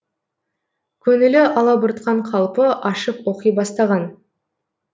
көңілі алабұртқан қалпы ашып оқи бастаған